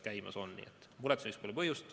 Nii et muretsemiseks pole põhjust.